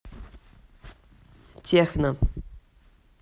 техно